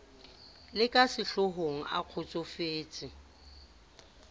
le ka sehlohong a kgotsofetse